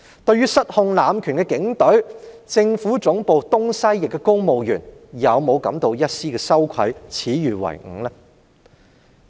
對於失控濫權的警隊，政府總部東西翼的公務員有否感到一絲羞愧，耻與為伍呢？